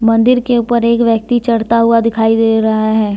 मंदिर के ऊपर एक व्यक्ति चढ़ता हुआ दिखाई दे रहा है ।